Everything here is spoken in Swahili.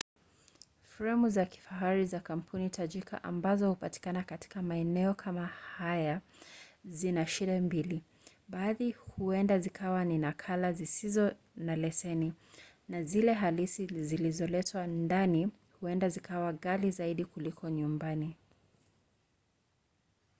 fremu za kifahari za kampuni tajika ambazo hupatikana katika maeneo kama haya zina shida mbili; baadhi huenda zikawa ni nakala zisizo na leseni na zile halisi zilizoletwa ndani huenda zikawa ghali zaidi kuliko nyumbani